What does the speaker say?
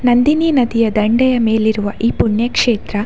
ನಂದಿನಿ ನದಿಯ ದಂಡೆಯ ಮೇಲಿರುವ ಈ ಪುಣ್ಯ ಕ್ಷೇತ್ರ --